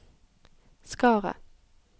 Skaret